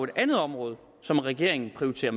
andet område som regeringen prioriterer